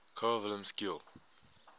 carl wilhelm scheele